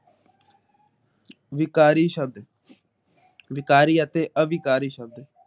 ਵਿਕਾਰੀ ਸ਼ਬਦ ਵਿਕਾਰੀ ਅਤੇ ਅਵਿਕਾਰੀ ਸ਼ਬਦ